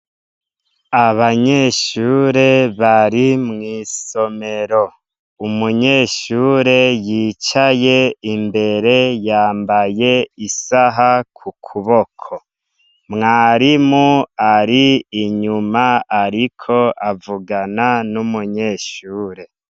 Abanyeshure bari mwisomero umunyeshure yicaye imbere yambaye isaha kukuboko mwarimu ari inyuma ariko avugana numunyeshure